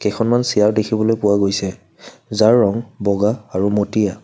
কেইখনমান চিয়াৰ দেখিবলৈ পোৱা গৈছে যাৰ ৰং বগা আৰু মটীয়া।